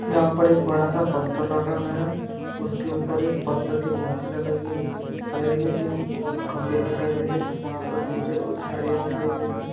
यहाँ पर एक बड़ा सा पत्थर रखा गया है उसके ऊपर एक पत्थर की मूर्ति लगाई गयी है साइड में तीन खम्बे दिखाई दे रहे है वहां पर पीछे कुछ झाड़ियां दिखाई दे रही है।